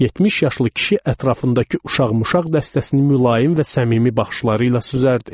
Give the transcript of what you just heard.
70 yaşlı kişi ətrafındakı uşaq-muşağ dəstəsini mülayim və səmimi baxışları ilə süzərdi.